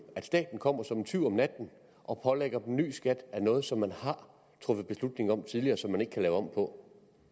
staten kommer som en tyv om natten og pålægger dem ny skat af noget som man har truffet beslutning om tidligere og som man ikke kan lave om på